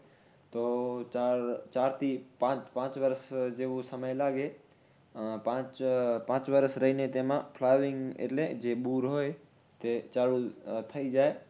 તો ચાર ચાર થી પાંચ પાંચ વર્ષ જેવુ સમય લાગે. આહ પાંચ વર્ષ રઈને તેમાં flowering એટલે જે બૂર હોય એ ચાલુ થાય જાય